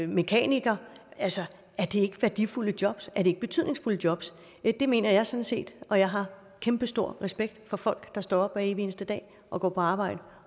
mekaniker ikke værdifulde jobs er det ikke betydningsfulde jobs det mener jeg sådan set og jeg har kæmpestor respekt for folk der står op hver evig eneste dag og går på arbejde